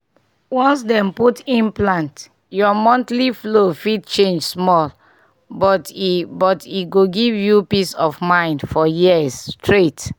once dem put implant your monthly flow fit change small — but e but e go give you peace of mind for years straight!